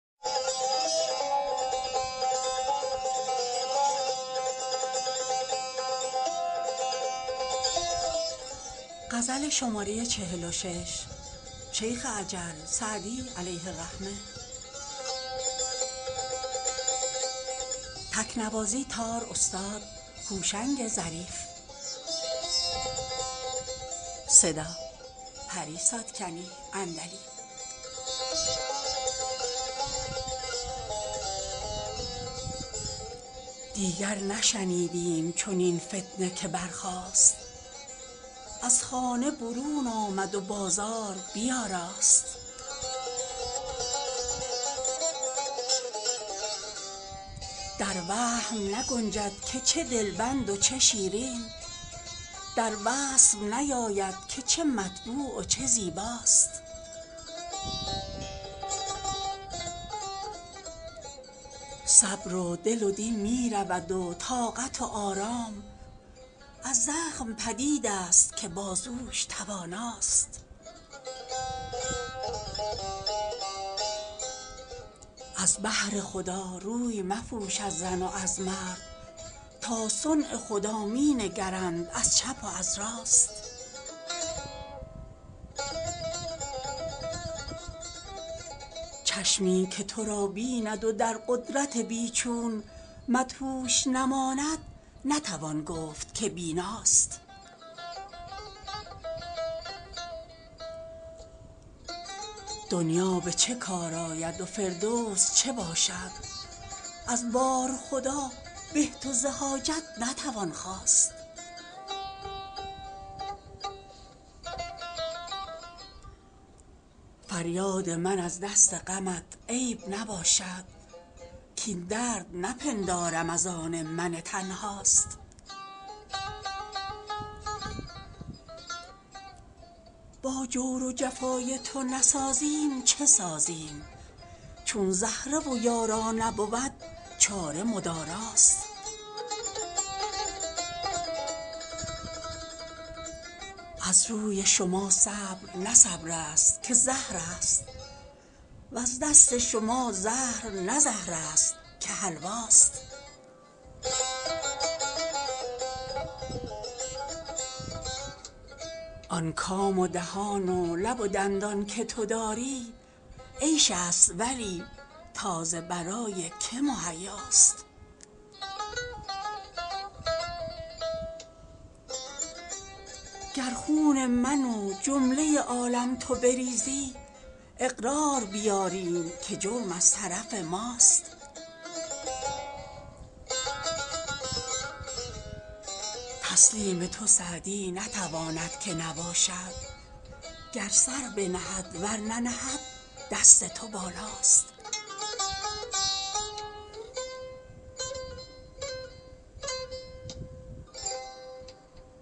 دیگر نشنیدیم چنین فتنه که برخاست از خانه برون آمد و بازار بیاراست در وهم نگنجد که چه دلبند و چه شیرین در وصف نیاید که چه مطبوع و چه زیباست صبر و دل و دین می رود و طاقت و آرام از زخم پدید است که بازوش تواناست از بهر خدا روی مپوش از زن و از مرد تا صنع خدا می نگرند از چپ و از راست چشمی که تو را بیند و در قدرت بی چون مدهوش نماند نتوان گفت که بیناست دنیا به چه کار آید و فردوس چه باشد از بارخدا به ز تو حاجت نتوان خواست فریاد من از دست غمت عیب نباشد کاین درد نپندارم از آن من تنهاست با جور و جفای تو نسازیم چه سازیم چون زهره و یارا نبود چاره مداراست از روی شما صبر نه صبر است که زهر است وز دست شما زهر نه زهر است که حلواست آن کام و دهان و لب و دندان که تو داری عیش است ولی تا ز برای که مهیاست گر خون من و جمله عالم تو بریزی اقرار بیاریم که جرم از طرف ماست تسلیم تو سعدی نتواند که نباشد گر سر بنهد ور ننهد دست تو بالاست